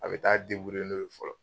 A bɛ taa n'o ye fɔlɔ.